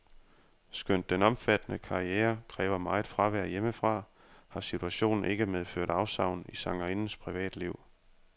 Skønt den omfattende karriere kræver meget fravær hjemmefra, har situationen ikke medført afsavn i sangerindens privatliv.